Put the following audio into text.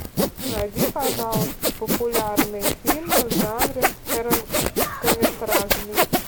найди пожалуйста популярные фильмы в жанре короткометражный